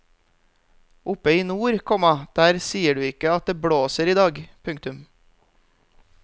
Oppe i nord, komma der sier du ikke at det blåser i dag. punktum